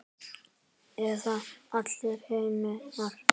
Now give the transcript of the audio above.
Eða allar hinar?